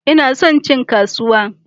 Ina son cin kasuwa